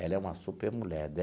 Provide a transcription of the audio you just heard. Ela é uma supermulher.